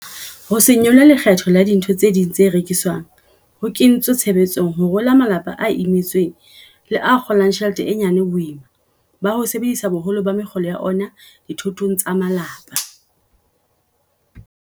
Ho se nyolle lekgetho la dintho tse ding tse rekiswang ho kentswe tshebetsong ho rola malapa a imetsweng le a kgo lang tjhelete e nyane boima ba ho sebedisa boholo ba mekgolo ya ona dithotong tsa malapa.